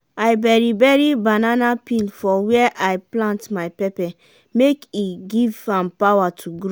i bury bury banana peel for where i plant my pepper make e give am power to grow.